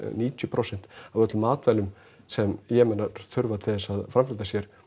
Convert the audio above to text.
níutíu prósent af öllum matvælum sem þurfa til að framfleyta sér